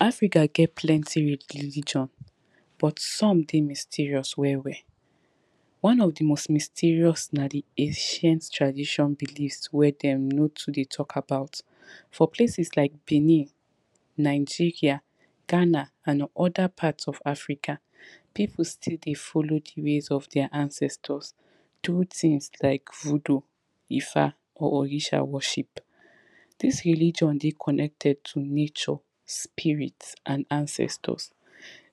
Africa get plenty religion but some dey mysterious well well. One of di most mysterious na di ancient tradition belief wey dem no too dey tok about for places like benin, Nigeria, Ghana and other part of Africa, people still dey follow di ways of deir ancestors, do things like voodoo, ifa or orisa worship. Dis religion dey connected to nature, spirit and ancestors.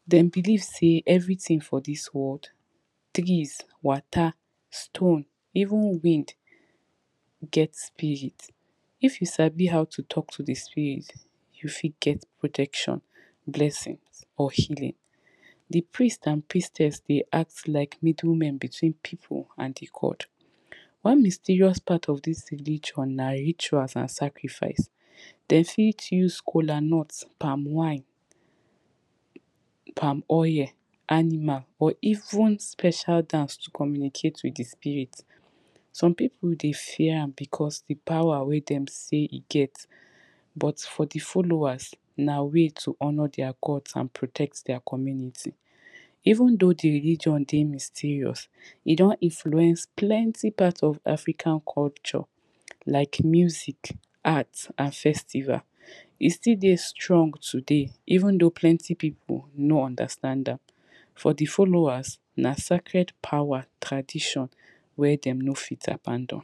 Den believe sey everything for dis world, trees, water, stone, even wind get spirit. If you sabi how to tok to di spirit you fit get protection, blessings or healings. Di priest and priestess dey act like middle men between people and di god. One mysterious part of dis religion na rituals and sacrifice, de fit use kolanut, palm wine, palm oil, animal or even special dance to communicate with di spirit. Some pipu dey fear am because, di power wey dem sey e get, but for di followers na way to honour deir gods and protect deir community. Even though di religion dey mysterious, e don influence plenty part of African culture like music, art, and festival. E still dey strong today even though plenty pipu no understand am, for di followers na sacred power tradition wey dem no fit abandon.